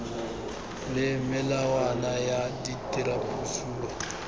le melawana ya tirisopuo ka